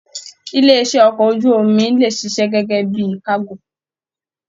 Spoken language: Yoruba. Ilé iṣẹ okọ̀ ojú omi lè ṣiṣẹ́ gẹgẹ bíi kago.